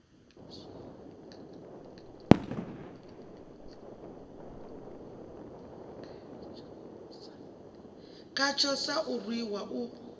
khatsho sa u rwiwa u